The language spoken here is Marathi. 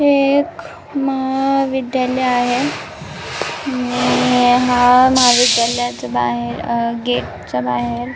हे एक महा विद्यालय आहे आणि या महाविद्यालयाच्या बाहेर आहे अ गेटच्या बाहेर--